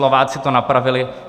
Slováci to napravili.